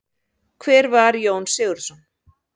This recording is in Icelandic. Hver var Jón Sigurðsson?